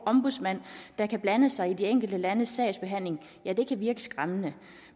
ombudsmand der kan blande sig i de enkelte landes sagsbehandling kan virke skræmmende